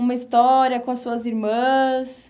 Uma história com as suas irmãs?